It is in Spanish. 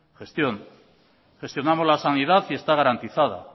gestión gestionamos la sanidad y está garantizada